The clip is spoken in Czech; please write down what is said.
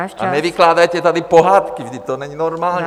A nevykládejte tady pohádky, vždyť to není normální...